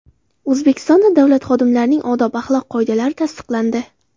O‘zbekistonda davlat xodimlarining odob-axloq qoidalari tasdiqlandi .